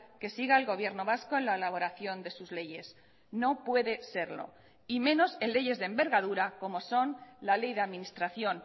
que siga el gobierno vasco en la elaboración de sus leyes no puede serlo y menos en leyes de envergadura como son la ley de administración